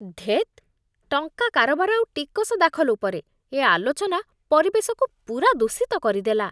ଧେତ୍! ଟଙ୍କା କାରବାର ଆଉ ଟିକସ ଦାଖଲ ଉପରେ ଏ ଆଲୋଚନା ପରିବେଶକୁ ପୂରା ଦୂଷିତ କରିଦେଲା।